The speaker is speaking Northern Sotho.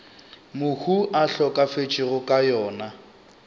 mohu a hlokafetšego ka yona